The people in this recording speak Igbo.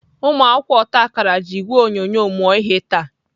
Ụmụakwụkwọ otakara ji ìgwè onyonyo mụọ ihe taa.